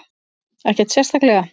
Ekkert sérstaklega.